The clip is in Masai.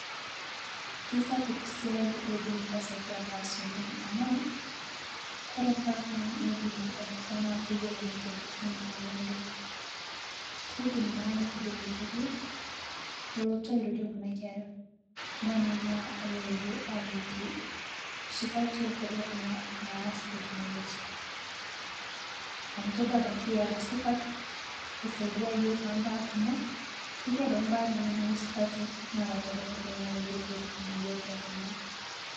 Keisapuk esiai naidim iltasati oleng amuu ore mbaa ekwe uweji nikitabakitia keyiolo iltasati ntokitin kumok oleng . Keidim naa neitobir olturur olotu arirokie kunakera, nemanaa airorie aakiki imbaa sipati ontorok naas tekinologia amuutodua ebaiki era supat keisadia yiook toombaa. Ketii ebaiki imbaa nemera supati naara torok.